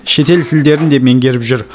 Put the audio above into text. шетел тілдерін де меңгеріп жүр